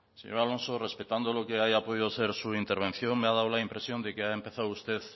señor alonso respetando lo que haya podido ser su intervención me ha dado la impresión de que ha empezado usted